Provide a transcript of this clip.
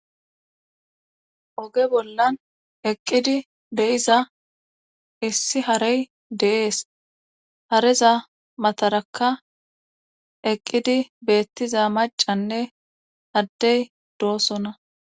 oge bollan eqqidi beyiza issi harey deees hareza matarakka eqqidi beettiza macanne addey doosona